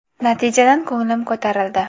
Natijadan ko‘nglim ko‘tarildi.